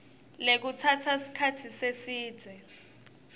lekutsatsa sikhatsi lesidze